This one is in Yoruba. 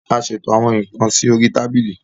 a ṣètò àwọn nkán sórí Tábìlì